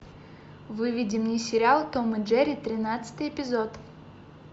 выведи мне сериал том и джерри тринадцатый эпизод